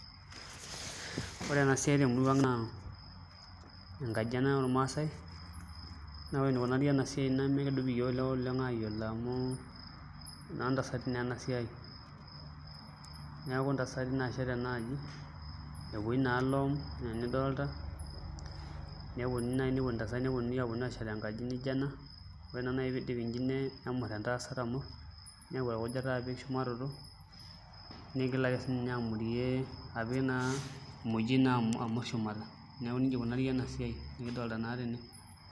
Ore ena siai tenkop ang' naa enkaji ormaasae ena naa ore enikunari ena siai nemekidup iyiook ilewa oleng' aayiolo amu enoontasati naa ena siai neeku intasati naashet ena aji nepuoi naa iloom enaa enidolta neponunui naai aipot ntasati neponu neponu aashet enkaji nijio ena ore naai pee idipi neyau orkujita amurr niigel apik emojioi apik shumata, neeku nijia ikunari ena siai nidolta naa tene.